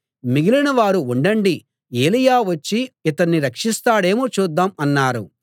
మిగిలిన వారు ఉండండి ఏలీయా వచ్చి ఇతణ్ణి రక్షిస్తాడేమో చూద్దాం అన్నారు